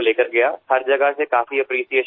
દરેક જગ્યાએથી સારો આવકાર મળ્યો